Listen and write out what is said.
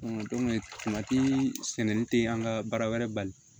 sɛnɛni te an ka baara wɛrɛ bali